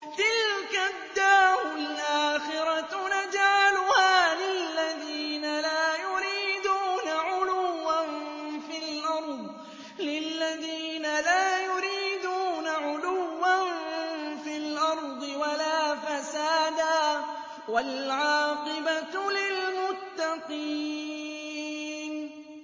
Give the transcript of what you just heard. تِلْكَ الدَّارُ الْآخِرَةُ نَجْعَلُهَا لِلَّذِينَ لَا يُرِيدُونَ عُلُوًّا فِي الْأَرْضِ وَلَا فَسَادًا ۚ وَالْعَاقِبَةُ لِلْمُتَّقِينَ